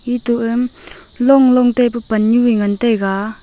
etu a longlong taipu Pannu eh ngan taiga.